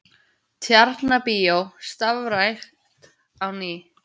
Tjarnarbíó starfrækt á ný